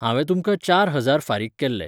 हांवें तुमकां चार हजार फारीक केल्ले.